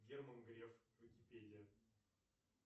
герман греф википедия